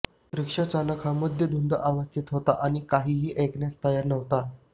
रिक्षा चालक हा मद्यधुंद अवस्थेत होता आणि काहीही ऐकण्यास तयार नव्हता